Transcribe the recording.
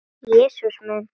Jesús minn!